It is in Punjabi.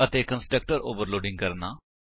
ਅਤੇ ਕੰਸਟਰਕਟਰ ਓਵਰਲੋਡ ਕਰਨਾ